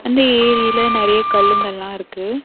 அந்த ஏரில நெறைய கல்லுங்கெல்லா இருக்கு.